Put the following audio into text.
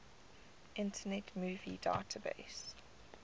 internet movie database